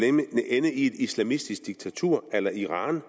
ende i et islamistisk diktatur a la iran